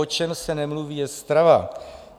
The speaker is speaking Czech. O čem se nemluví, je strava.